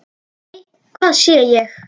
Nei, hvað sé ég!